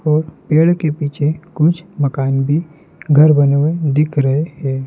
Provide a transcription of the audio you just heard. और पेड़ के पीछे कुछ मकान भी घर बने हुए दिख रहे हैं।